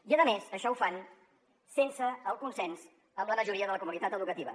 i a més això ho fan sense el consens amb la majoria de la comunitat educativa